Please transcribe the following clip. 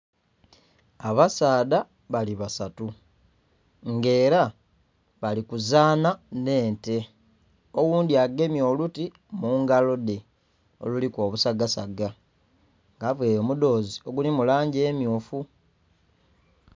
Abasaadha bali basatu nga era balikuzanha nh'ente, oghundhi agemye oluti mugalodhe oluliku obusaga saga nga avaire omudhozi oguli mulangi emmyufu.